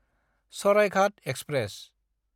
Saraighat express